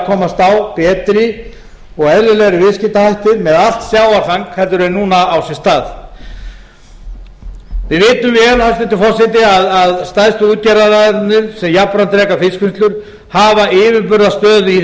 komast á betri og eðlilegri viðskiptahættir með allt sjávarfang en núna á sér stað við vitum vel hæstvirtur forseti að stærstu útgerðaraðilarnir sem jafnframt reka fiskvinnslur hafa yfirburðastöðu í þessu